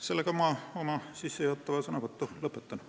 Sellega ma oma sissejuhatava sõnavõtu lõpetan.